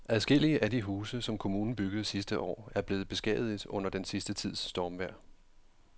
Adskillige af de huse, som kommunen byggede sidste år, er blevet beskadiget under den sidste tids stormvejr.